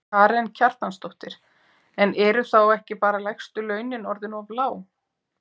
Karen Kjartansdóttir: En eru þá ekki bara lægstu launin orðin of lág?